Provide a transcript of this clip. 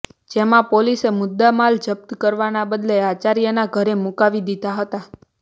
જેમાં પોલીસે મુદ્દામાલ જપ્ત કરવાના બદલે આચાર્યના ઘરે મુકાવી દીધા હતા